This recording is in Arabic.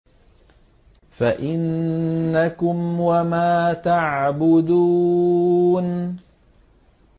فَإِنَّكُمْ وَمَا تَعْبُدُونَ